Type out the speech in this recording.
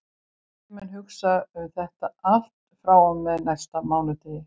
Ég mun hugsa um þetta allt frá og með næsta mánudegi.